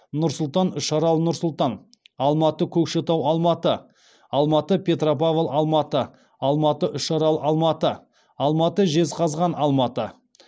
нұр сұлтан үшарал нұр сұлтан алматы көкшетау алматы алматы петропавл алматы алматы үшарал алматы алматы жезқазған алматы